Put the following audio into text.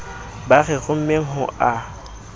ba re rommeng ho a